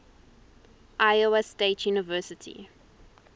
iowa state university